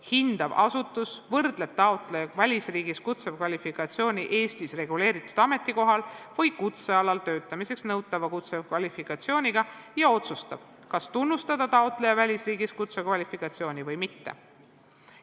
Hindav asutus võrdleb taotleja välisriigi kutsekvalifikatsiooni Eestis reguleeritud ametikohal või kutsealal töötamiseks nõutava kutsekvalifikatsiooniga ja otsustab, kas tunnustada taotleja välisriigis kutsekvalifikatsiooni või mitte.